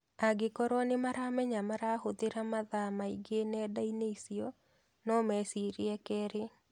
Angĩkorwo nĩ maramenya marahũthĩra mathaa maingĩ nenda-inĩ icio no mecirie kerĩ.